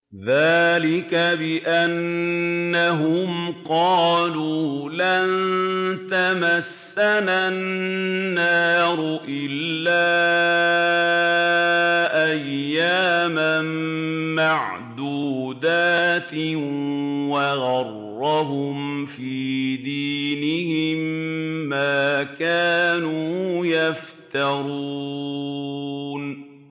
ذَٰلِكَ بِأَنَّهُمْ قَالُوا لَن تَمَسَّنَا النَّارُ إِلَّا أَيَّامًا مَّعْدُودَاتٍ ۖ وَغَرَّهُمْ فِي دِينِهِم مَّا كَانُوا يَفْتَرُونَ